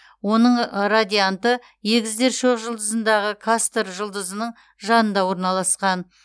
оның радианты егіздер шоқжұлдызындағы кастор жұлдызының жанында орналасқан